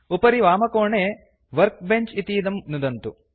उपरि वामकोणे वर्कबेंच इतीदं नुदन्तु